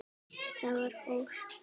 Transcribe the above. Það var hól.